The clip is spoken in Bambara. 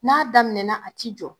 N'a daminɛna a ti jɔ.